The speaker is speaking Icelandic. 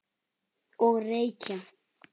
Og reykja.